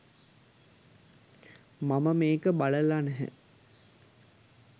මම මේක බලලා නැහැ